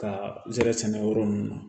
Ka zɛrɛ sɛnɛ yɔrɔ ninnu na